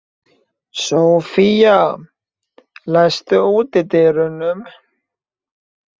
Sophia, læstu útidyrunum.